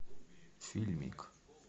фильмик